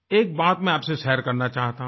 एक बात मैं आप से शेयर करना चाहता हूँ